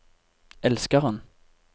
elskeren